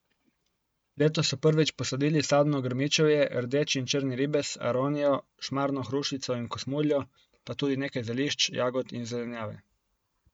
Letos so prvič posadili sadno grmičevje, rdeči in črni ribez, aronijo, šmarno hrušico in kosmuljo, pa tudi nekaj zelišč, jagod in zelenjave.